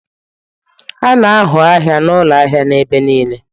A na-ahụ ahịa na ụlọ ahịa n'ebe niile.